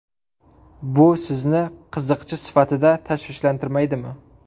Bu sizni qiziqchi sifatida tashvishlantirmaydimi?